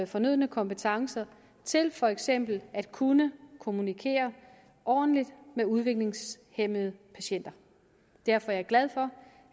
fornødne kompetencer til for eksempel at kunne kommunikere ordentligt med udviklingshæmmede patienter derfor er jeg glad for